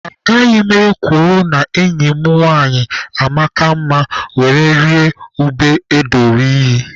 Agaghị m ekworo na enyi m nwanyị amaka mma were rịa ube edoro iyi.